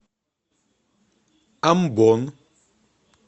амбон